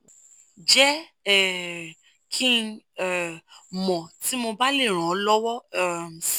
jẹ́ um kí n um mọ̀ tí mo bá lè ràn ọ́ lọ́wọ́ um si